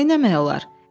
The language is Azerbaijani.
Neyləmək olar?